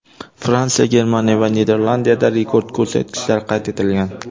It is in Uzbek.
Fransiya, Germaniya va Niderlandiyada rekord ko‘rsatkichlar qayd etilgan.